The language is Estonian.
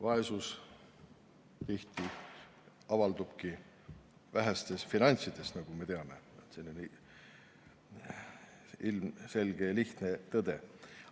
Vaesus tihti avaldubki vähestes finantsides, nagu me teame – ilmselge ja lihtne tõde.